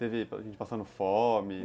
Teve gente passando fome?